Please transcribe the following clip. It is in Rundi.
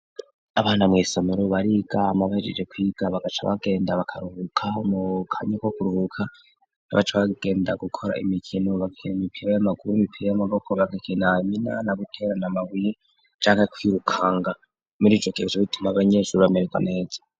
Abana mw'isomero bariga hama bahejeje kwiga baca bagenda bakaruhuka mu kanya ko kuruhuka abaca bagenda gukora imikino, bakira imipira y'amaguru, imipira y'amaboko bagakina imina no guterana amabuye canke kwirukanga ,muri ico gihe bica bituma abanyeshure bameregwa neza.